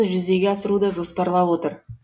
жүзеге асыруды жоспарлап отыр